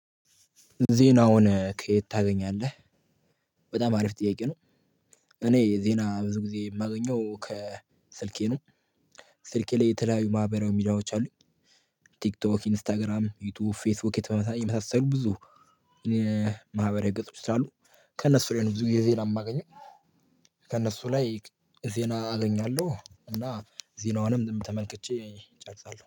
ዜናውን ከየት ታገኛለህ? በጣም አሪፍ ጥያቄ ነው። እኔ ዜና ብዙ ጊዜ የማገኘው ከስልኬ ነው። ስልኬ ላይ የተለያዩ ማህበራዊ ሚዲያዎች አሉኝ። ቲክቶክ ኢንስታግራም ዩቲዩብ ፌስቡክ የተመሳሰሉ ብዙ ማህበራዊ ገጾች አሉ። ከእነሱ ላይ ነው ብዙ የዜና የማገኘው። ከእነሱ ላይ ዜና አገኛለሁ እና ዜናዋንም ተመልክቼ እጨርሳለሁ